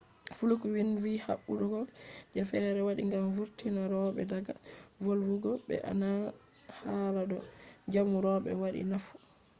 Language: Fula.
fluke vindi vi habdugo je fere waɗi gam vurtina roɓe daga volwugo ɓe nana hala do jamu roɓe waɗai nafu